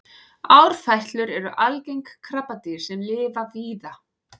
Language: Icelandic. árfætlur eru algeng krabbadýr sem lifa víða